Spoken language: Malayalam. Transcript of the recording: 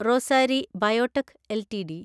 Rossari biotech LTD